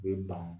U bɛ ban